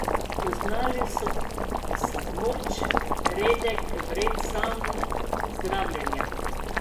Poznali so samoč, redek obred samozdravljenja.